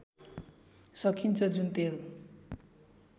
सकिन्छ जुन तेल